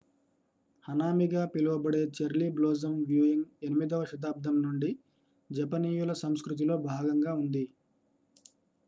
hanami గా పిలువబడే cherry blossom viewing 8వ శతాబ్దం నుండి జపనీయుల సంస్కృతిలో భాగంగా ఉంది